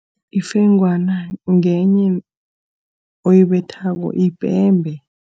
Ifengwana ngenye oyibethako, yipembe.